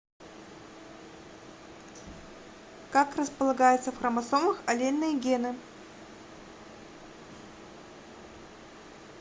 как располагаются в хромосомах аллельные гены